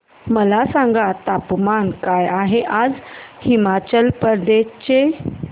मला सांगा तापमान काय आहे आज हिमाचल प्रदेश चे